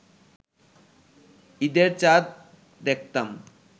ঈদের চাঁদ দেখতাম